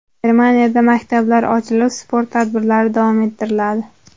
Germaniyada maktablar ochilib, sport tadbirlari davom ettiriladi.